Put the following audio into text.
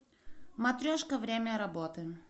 матрешка время работы